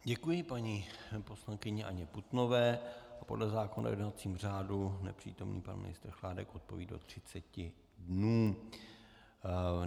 Děkuji paní poslankyni Anně Putnové a podle zákona o jednacím řádu nepřítomný pan ministr Chládek odpoví do 30 dnů.